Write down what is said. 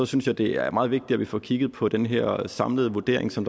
synes jeg det er meget vigtigt at vi får kigget på den her samlede vurdering som